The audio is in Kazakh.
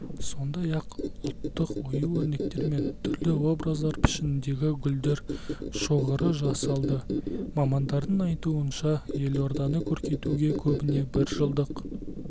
сондай-ақ ұлттық ою-өрнектер мен түрлі образдар пішініндегі гүлдер шоғыры жасалды мамандардың айтуынша елорданы көркейтуге көбіне біржылдық